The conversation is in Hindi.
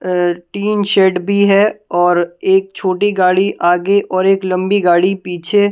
अ टीन शेड भी है और एक छोटी गाड़ी आगे और एक लंबी गाड़ी पीछे--